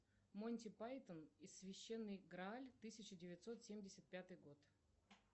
монти пайтон и священный грааль тысяча девятьсот семьдесят пятый год